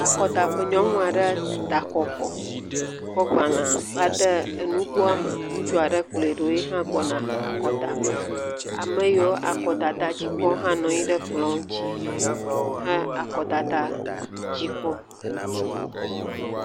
Akɔdaƒe. Nyɔnu aɖe da akɔ vɔ. Kɔ agbale va de enugoa me. Ŋutsu aɖe kplɔe ɖo yiha gbɔna akɔdaƒe. Ame yiwo akɔdada dzi kpɔm hã nɔ anyi ɖe ekplɔ ŋuti he akɔdada dzi kpɔm.